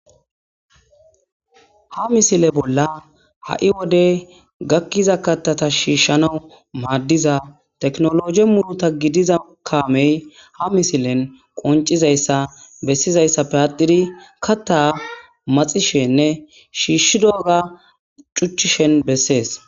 ha misile bolla ha'i wode gakkiza katata shiishshanawu maaddiza teknologe muluta gidiza kaamey ha misilen qoncizayssa bessizayssappe atiri katta maxishenne shiishshi dooga cuchishen bessees.